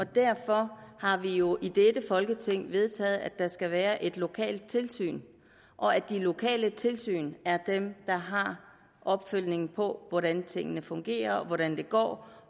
derfor har vi jo i dette folketing vedtaget at der skal være et lokalt tilsyn og at de lokale tilsyn er dem der har opfølgningen på hvordan tingene fungerer hvordan det går